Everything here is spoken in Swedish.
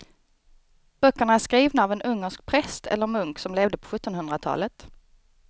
Böckerna är skrivna av en ungersk präst eller munk som levde på sjuttonhundratalet.